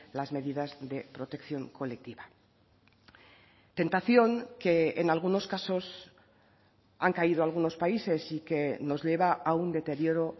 las medidas de protección colectiva tentación que en algunos casos han caído algunos países y que nos lleva a un deterioro